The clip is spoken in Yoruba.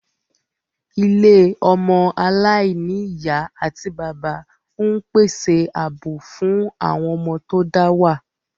Ilé ọmọ aláìní ìyá àti bàbá ń pèsè ààbò fún àwọn ọmọ tó dá wà